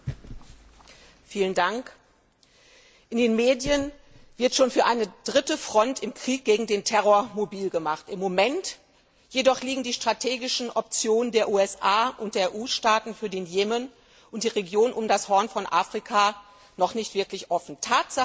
Frau Präsidentin! In den Medien wird schon für eine dritte Front im Krieg gegen den Terror mobil gemacht. Im Moment jedoch liegen die strategischen Optionen der USA und der EU Staaten für den Jemen und die Region um das Horn von Afrika noch nicht wirklich offen.